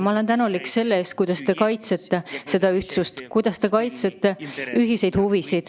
Ma olen tänulik selle eest, kuidas te kaitsete seda ühtsust, kuidas te kaitsete ühiseid huvisid.